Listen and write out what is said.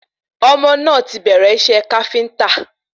Ọmọ náà ti bẹ̀rẹ̀ iṣẹ́ Káfíntà